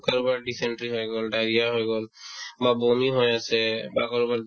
কাৰোবাৰ dysentery হৈ গ'ল , diarrhea হৈ গ'ল বা বমি হৈ আছে বা কাৰোবাৰ